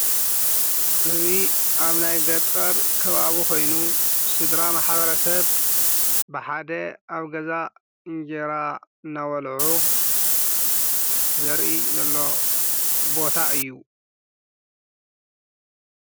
እዙይ ኣብ ናይ ገጠር ክባቡ ኾይኑ ስድራ መሓበረ ሰብ ብሓደ ኣብ ገዛ እንጌይራ ናበልዑ ዘርኢ ዘሎ ቦታ እዩ።